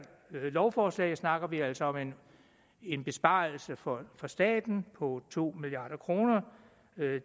lovforslag snakker vi altså om en en besparelse for staten på to milliard kroner